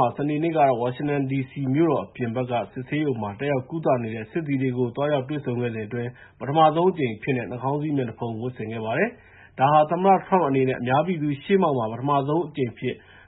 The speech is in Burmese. ဟာ စနေနေ့ကတော့ ဝါရှင်တန်ဒီစီမြို့တော် အပြင်ဘက်က စစ်ဆေးရုံမှာ တက်ရောက်ကုသနေတဲ့ စစ်သည်တွေကို သွားရောက်တွေ့ဆုံခဲ့စဉ်အတွင်း ပထမဆုံးအကြိမ်အဖြစ်နဲ့ နှာခေါင်းစည်း မျက်နှာဖုံး ဝတ်ဆင်ခဲ့ပါတယ်။ ဒါဟာ သမ္မတ Trump အနေနဲ့ အများပြည်သူ ရှေ့မှောက်မှာ ပထမဆုံးအကြိမ်